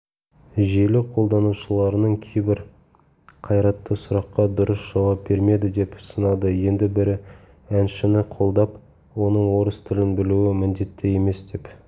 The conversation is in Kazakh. желі қолданушыларының кейбірі қайратты сұраққа дұрыс жауап бермеді деп сынады енді бірі әншіні қолдап оның орыс тілін білуі міндетті емес деп